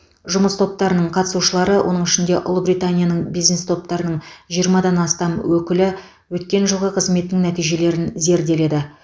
жұмыс топтарының қатысушылары оның ішінде ұлыбританияның бизнес топтарының жиырмадан астам өкілі өткен жылғы қызметінің нәтижелерін зерделеді